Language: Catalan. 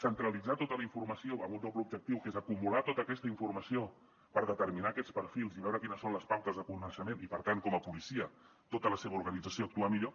centralitzar tota la informació amb un doble objectiu que és acumular tota aquesta informació per determinar aquests perfils i veure quines són les pautes de comportament i per tant com a policia tota la seva organització actuar millor